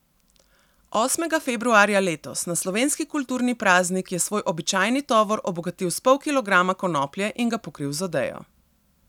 Osmega februarja letos, na slovenski kulturni praznik, je svoj običajni tovor obogatil s pol kilograma konoplje in ga pokril z odejo.